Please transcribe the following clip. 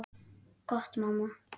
Gott mamma.